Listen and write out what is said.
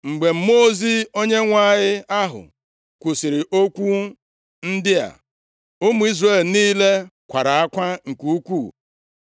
Mgbe Mmụọ ozi Onyenwe anyị ahụ kwusiri okwu ndị a, ụmụ Izrel niile kwara akwa nke ukwuu.